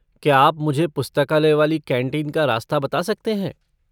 क्या आप मुझे पुस्तकालय वाली कैंटीन का रास्ता बता सकते हैं?